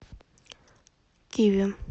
киви